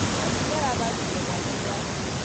Mami nĩarathambirie mwana ira